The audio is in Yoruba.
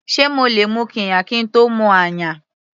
Sé mo lè mu qirya kín tó mu ayan.